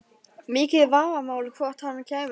Mikið vafamál hvort hann kæmist hærra.